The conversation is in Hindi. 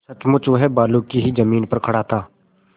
सचमुच वह बालू की ही जमीन पर खड़ा था